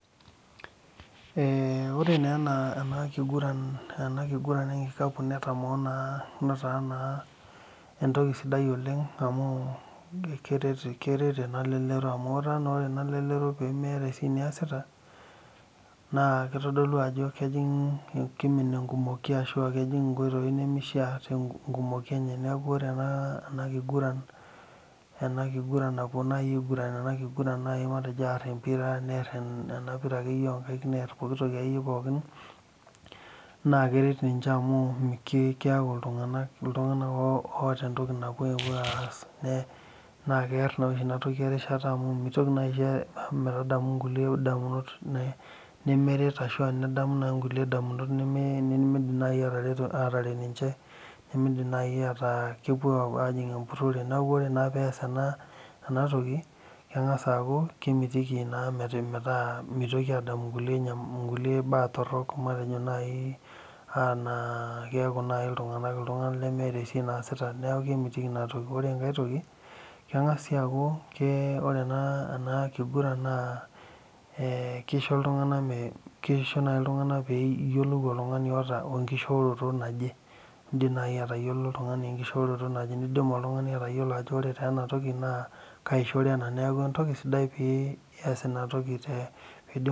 Eeh ore naa ena kiguran ekikapu netaa naa entoki sidai naa keret ena lelero amu etaa naa ore elelero peemeeta entoki niasita naa keitodolu ajo kejing inkoitoi nemeishia tenkumoi enye neeku ore ena kiguran napuo naaji aiguran ena kiguran napuo naaji aar empira naa neer enapira akeyie oonkaik neer pooki toki akeyie pookin naa keret ninche amu keeku iltung'anak keeta enepuo aass naa keret ninche amu mitoki atum inkulie damunot nemeret ashua nidamu naaji inkulie damunot nemeret ashua nemeidim naaji ataa lepuo aajing empurore neeku ore naa pees enatoki keng'as aaku kemitiki epuo adamu inkulie baa torok matejo naaji enaa keeku naaji iltung'anak iltung'anak nemeeta esiai naasita neeku kemitiki inatoki ore enkae toki ore ena kiguran naa eee keisho iltung'anak peeiyiolou oltung'ani oota oonkishooroto naje indiim naaji aatayiolo oltung'ani enkishooroto naje neidim oltung'ani aatayiolo ajo ore taa ena toki naakaishoro ena neeku entoki sidia pias ina toki pee